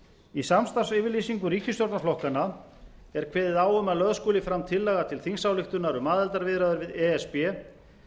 í samstarfsyfirlýsingu ríkisstjórnarflokkanna er kveðið á um að lögð skuli fram tillaga til þingsályktunar auk aðildarviðræður við e s b